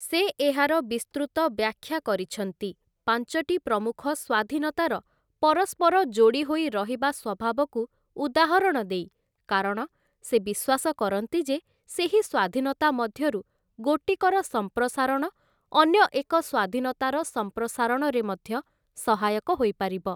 ସେ ଏହାର ବିସ୍ତୃତ ବ୍ୟାଖ୍ୟା କରିଛନ୍ତି, ପାଞ୍ଚଟି ପ୍ରମୁଖ ସ୍ୱାଧୀନତାର ପରସ୍ପର ଯୋଡ଼ିହୋଇ ରହିବା ସ୍ୱଭାବକୁ ଉଦାହରଣ ଦେଇ, କାରଣ ସେ ବିଶ୍ୱାସ କରନ୍ତି ଯେ ସେହି ସ୍ୱାଧୀନତା ମଧ୍ୟରୁ ଗୋଟିକର ସମ୍ପ୍ରସାରଣ ଅନ୍ୟ ଏକ ସ୍ୱାଧୀନତାର ସମ୍ପ୍ରସାରଣରେ ମଧ୍ୟ ସହାୟକ ହୋଇପାରିବ ।